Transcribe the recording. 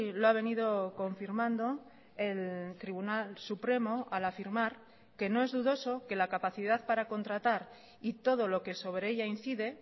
lo ha venido confirmando el tribunal supremo al afirmar que no es dudoso que la capacidad para contratar y todo lo que sobre ella incide